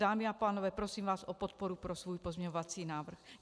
Dámy a pánové, prosím vás o podporu pro svůj pozměňovací návrh.